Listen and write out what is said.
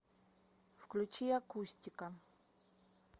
включи акустика